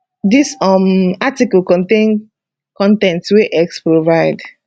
dis um article contain con ten t wey x provide